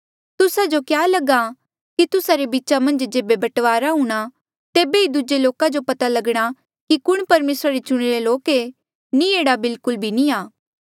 तुस्सा जो क्या लगहा कि तुस्सा रे बीचा मन्झ जेबे बंटवारा हूणा तेबे ही दूजे लोका जो पता लगणा कि कुण परमेसरा रे चुणिरे लोक ऐें नी एह्ड़ा बिलकुल भी नी आ